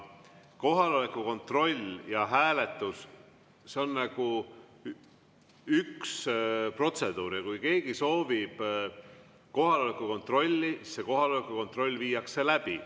Kohaloleku kontroll ja hääletus – see on nagu üks protseduur ja kui keegi soovib kohaloleku kontrolli, siis kohaloleku kontroll viiakse läbi.